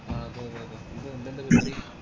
ആഹ് അതെ അതെ അതെ എന്താ നിൻറെന്താ പരിപാടി